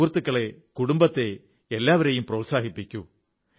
സുഹൃത്തുക്കളെ കുടുംബത്തെ എല്ലാവരെയും പ്രോത്സാഹിപ്പിക്കൂ